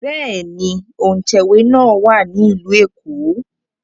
Bẹ́ẹ̀ ni, òǹtẹ̀wé náà wà ní Ìlú Èkó